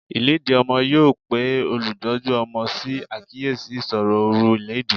Ìlédìí ọmọ yóò pe olùtọ́jú ọmọ sí àkíyèsí ìṣòro oru ìlédìí.